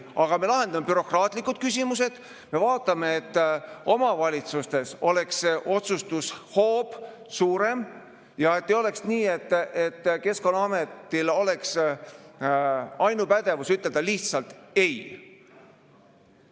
Aga me lahendame bürokraatlikud küsimused, me vaatame, et omavalitsustes oleks otsustushoob suurem ja et ei oleks nii, et Keskkonnaametil oleks ainupädevus ütelda lihtsalt "ei".